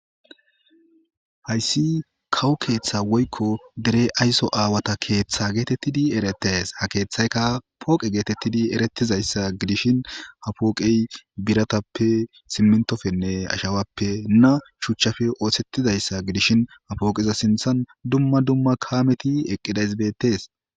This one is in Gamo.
hayssi kawo keeththa woykko dere ayso aawata keeththa geetettidi eretees ha keeththayka pooqe geetettidi erettizayssa gidishin ha pooqey biratappe simmintofenne ashawappe na shuchchafe oosettizayssa gidishin ha pooqiza sinthan dumma dumma kaameti eqqidaysbetees